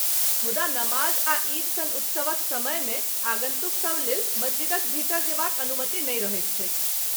मुदा नमाज आ ईद सन उत्सवक समयमे आगन्तुकसभ लेल मस्जिदक भीतर जेबाक अनुमति नहि रहैत छैक।